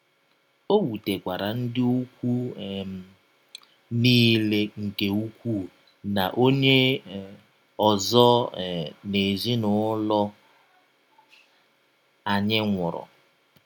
Ọ wụtekwara ndị ikwụ um m niile nke ụkwụụ na onye um ọzọ um n’ezinụlọ anyị nwụrụ.